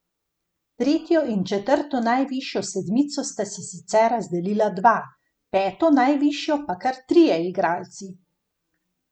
Tretjo in četrto najvišjo sedmico sta si sicer razdelila dva, peto najvišjo pa kar trije igralci.